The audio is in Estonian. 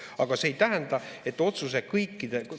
Aga see ei tähenda, et otsuse kõikide ...